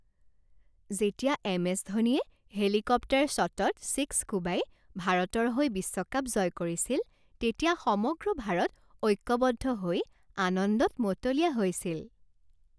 যেতিয়া M S ধোনীয়ে helicopter শ্বটত ছিক্স কোবাই ভাৰতৰ হৈ বিশ্বকাপ জয় কৰিছিল তেতিয়া সমগ্ৰ ভাৰত ঐক্যবদ্ধ হৈ আনন্দত মতলীয়া হৈছিল।